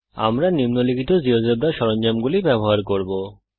আমরা নিম্নলিখিত জীয়োজেব্রা সরঞ্জামগুলি ব্যবহার করব